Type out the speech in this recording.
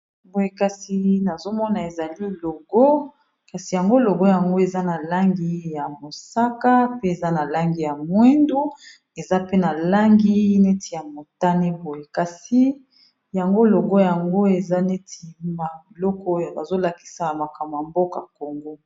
boye kasi nazomona ezali logo kasi yango logo yango eza na langi ya mosaka pe eza na langi ya mwindu eza pe na langi neti ya motane boye kasi yango logo yango eza netii maloko oyo bazolakisa makambo ya mboka kongo